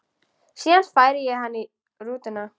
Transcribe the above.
Síðan færi hann í rútuna.